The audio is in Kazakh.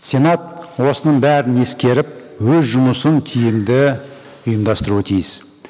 сенат осының бәрін ескеріп өз жұмысын тиімді ұйымдастыруы тиіс